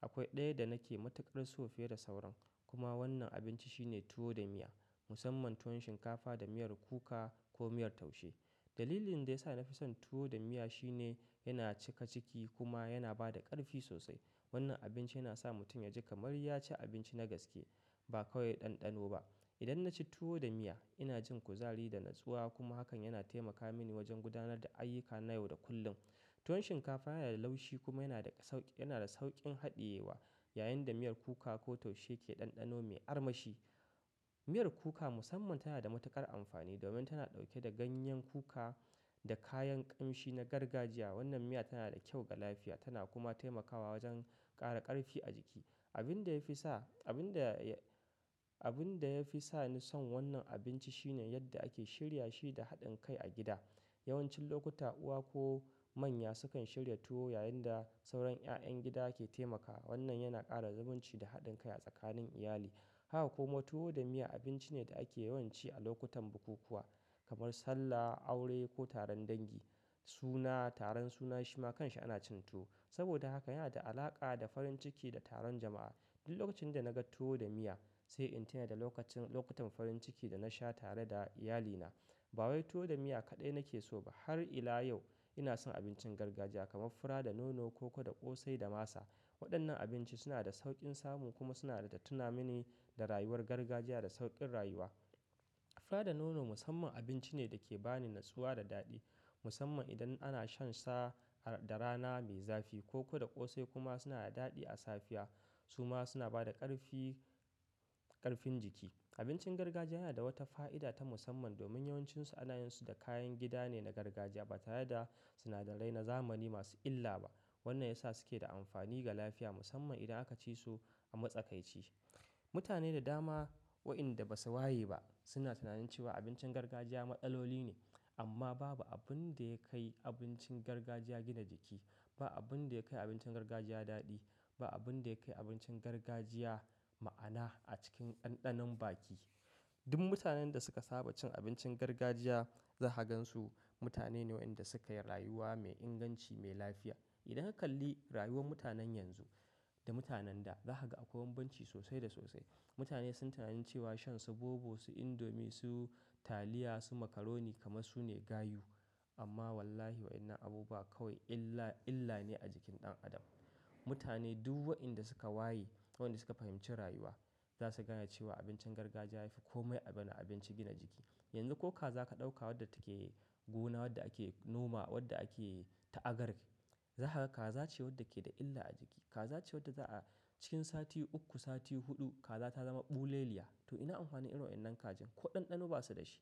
Akwai ɗaya da nake matukar so fiye da sauran. Kuma wannan abinci shine tuwo da miya. Musamman tuwon shinkafa da miyar kuka, ko miyar taushe. Dalilin da ya sa na fi son tuwo da miya shine, yana cika ciki kuma yana ba da ƙarfi sosai. Wannan abinci, yana sa mutum ya ji kamar ya ci abinci na gaske, ba kawai ɗanɗano ba. Idan na ci tuwo da miya, ina jin kuzari da natsuwa, kuma hakan yana taimaka mini wajen gudanar da ayyuka na yau da kullum. Tuwon shinkafa yana da laushi, kuma yana da sauƙin haɗiyewa, yayin da miyar kuka ko taushe ke ɗanɗano mai armashi. Miyar kuka musamman tana da matuƙar amfani, domin tana ɗauke da ganyen kuka, da kayan ƙamshi na gargajiya. Wannan miya tana da kyau ga lafiya, tana kuma taimakawa wajen ƙara ƙarfi a jiki. Abunda ya fi sa Abin da ya fi sa ni son wannan abinci shine, yadda ake shirya shi da haɗin kai a gida. Yawancin lokuta uwa ko manya, sukan shirya tuwo yayin da sauran ƴaƴan gida ke taimakawa. Wannan yana ƙara zamunci da haɗin kai a tsakanin iyali. Haka kuma tuwo da miya, abinci ne da ake yawan ci a lokutan bukukuwa, kamar sallah, aure ko taron dangi, suna, taron suna shima kanshi ana cin tuwo. Saboda haka yana da alaƙa da farin ciki da taron jama'a. Duk lokacin da na ga tuwo da miya, sai in tuna da lokutan farin ciki da na sha, tare da iyalina. Ba wai tuwo da miya kaɗai nake so ba, har ila yau ina son abincin gargajiya, kamar fura da nono, koko da ƙosai da masa. Waɗannan abinci suna da sauƙin samu, kuma suna da tuna mini da rayuwar gargajiya da sauƙin rayuwa. Fura da nono musamman abinci ne da ke ba ni natsuwa da daɗi, musamman idan ana shansa, da rana mai zafi. Koko da ƙosai kuma suna da daɗi a safiya. Su ma suna ba da ƙarfin jiki. Abincin gargajiya yana da wata fa'ida ta musamman, domin yawancinsu anayin su da kayan gida ne na gargajiya, ba tare da sinadarai na zamani masu illa ba. Wannan ya sa su ke da amfani ga lafiya, musamman idan aka ci su a matsakaici. Mutane da dama wa'inda ba su waye ba, suna tunanin cewa abincin gargajiya maɗaloli ne. Amma babu abin da ya kai abincin gargajiya gina jiki. Babu abin da ya kai abincin gargajiya daɗi. Babu abin da ya kai abincin gargajiya ma'ana a cikin ɗanɗanon baki. Duk mutanen da suka saba cin abincin gargajiya, za ka gan su mutane ne wa'inda suka yi rayuwa mai inganci mai lafiya. Idan ka kalli rayuwar mutanen yanzu, da mutanen da, za ka ga akwai bambanci sosai da sosai. Mutane sunyi tunani cewa, shan su bobo, su indomi, su taliya, su makaroni kamar su ne gayu. Amma wallahi waɗannan abubuwa kawai, illa ne a jikin ɗan adam. Mutane duk waɗanda suka waye, waɗanda suka fahimci rayuwa za su gaya cewa abincin gargajiya yafi kome abin abinci gina jiki. Yanzu ko kaza ka ɗauka, wadda take gona, wadda ake noma wadda ake ta'agar. Za ka ga kaza ce wadda ke da illa a jiki. Kaza ce wadda za'a cikin sati uku, sati huɗu kaza ta zama ɓuleliya. To ina amfani irin wa'innan kajin? Ko ɗanɗano ba su da shi.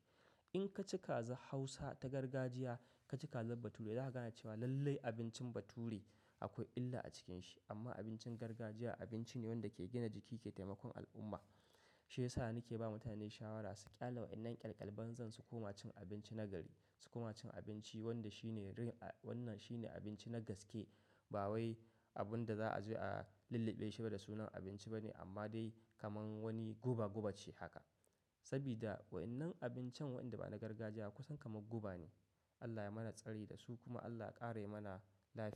In ka ci kaza hausa ta gargajiya, ka ci kazar bature, za ka ga cewa lallai abincin bature akwai illa a cikin shi. Amma abincin gargajiya abinci ne wanda ke gina jiki ke taimakon al'umma. Shi ya sa ni ke ba mutane shawara, su ƙyale waɗannan ƙyalƙyal banzan zan, su koma cin abinci na gari. Su koma cin abinci wanda shi ne abinci na gaske ba wai abun da za a zo a lulluɓe shi ba, da sunan abinci ba ne, amma dai kamar wani guba guba ce haka. Saboda waɗannan abincin, wanda ba na gargajiya ba, kusan kamar guba ne. Allah ya mana tsari da su kuma Allah ya ƙare mana lafiya.